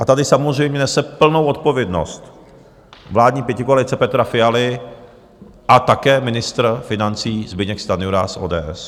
A tady samozřejmě nese plnou odpovědnost vládní pětikoalice Petra Fialy a také ministr financí Zbyněk Stanjura z ODS.